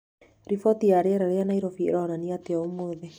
Riboti ya rĩera rĩa Nairobi ĩronania atĩa ũmũthĩ